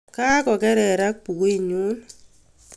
kakokererak bukuitnyun